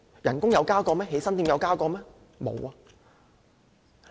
但是，工資和起薪點有增加嗎？